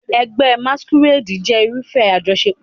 Ẹgbẹ́ Masquerade jẹ́ irúfẹ́ àjọṣepọ̀.